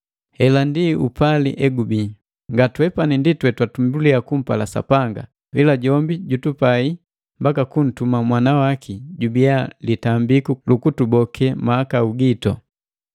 Hela ndi upali egubii: Nga twepani ndi twetwatumbulia kumpala Sapanga, ila jombi jutupai mbaka kuntuma Mwana waki jubiya litambiku lukutuboke mahakau gitu.